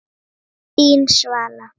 Þín, Svala.